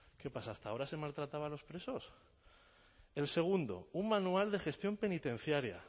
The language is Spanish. qué pasa hasta ahora se maltrataba a los presos el segundo un manual de gestión penitenciaria